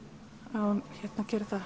hún gerði það